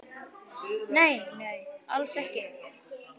Nei, nei, alls ekki.